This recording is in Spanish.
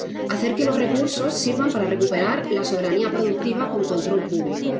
hacer que los recursos sirvan para recuperar la soberanía productiva con control público.